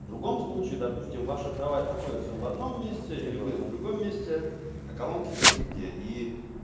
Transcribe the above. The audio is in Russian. в другом случае допустим ваша кровать находится в одном месте или вы в другом месте а колонки черте где и